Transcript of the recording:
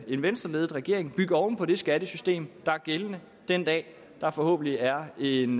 en venstreledet regering bygge oven på det skattesystem der er gældende den dag der forhåbentlig er en